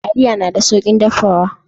Taliya na da saukin dafawa.